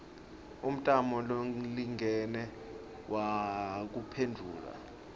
umtamo lolingene wekuphendvula